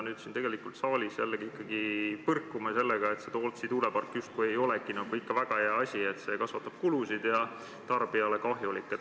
Nüüd me siin saalis aga jällegi põrkume väite vastu, et see Tootsi tuulepark justkui ei ole ikka väga hea asi, et see kasvatab kulusid ja on tarbijale kahjulik.